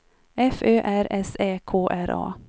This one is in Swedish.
F Ö R S Ä K R A